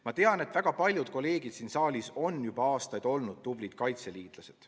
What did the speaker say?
Ma tean, et väga paljud kolleegid siin saalis on juba aastaid olnud tublid kaitseliitlased.